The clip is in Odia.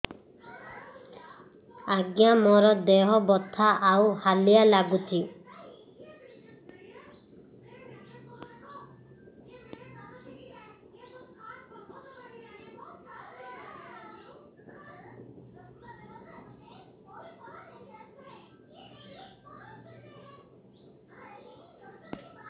ଆଜ୍ଞା ମୋର ଦେହ ବଥା ଆଉ ହାଲିଆ ଲାଗୁଚି